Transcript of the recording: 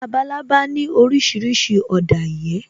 Labalábá ní orísìírísìí ọ̀dà ìyẹ́